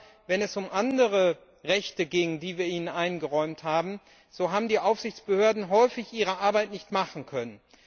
Aber wenn es um andere Rechte ging, die wir ihnen eingeräumt haben, so haben die Aufsichtsbehörden häufig ihre Arbeit nicht machen können.